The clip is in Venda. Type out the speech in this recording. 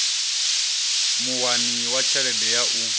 muwani wa tshelede ya u